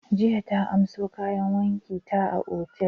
Jiya ta amso kayan wanki ta a otal.